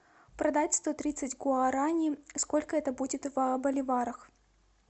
продать сто тридцать гуарани сколько это будет в боливарах